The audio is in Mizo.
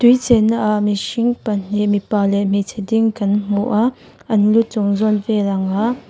tui chenna ah mihring pahnih mipa leh hmeichhe ding kan hmu a an lu chung zawn vel anga--